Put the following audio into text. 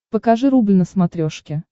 покажи рубль на смотрешке